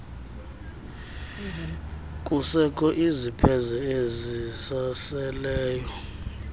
kusekho izipheze ezisaseleyo